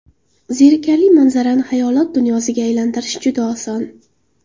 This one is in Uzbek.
Zerikarli manzarani xayolot dunyosiga aylantirish juda oson.